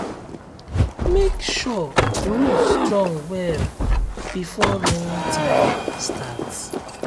make sure roof strong well before rainy time start.